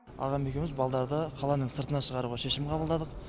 ағам екеуіміз балдарды қаланың сыртына шығаруға шешім қабылдадық